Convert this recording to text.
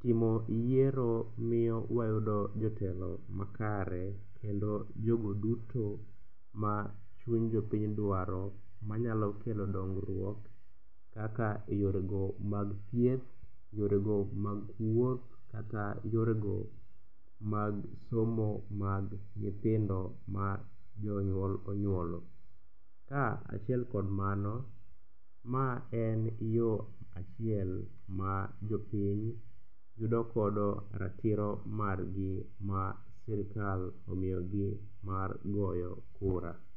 timo yiero miyo wayudo jotelo makare kendo jogo duto machuny jopiny dwaro manyalo kelo dongruok kaka e yorego mag trhieth, yorego mag wuoth kata yorego mag somo mag nyithindo ma jonyuol onyuolo. Kaachiel kod mano, ma en yo achiel ma jopiny yudogodo ratiro margi ma sirikal omiyogi mar goyo kura.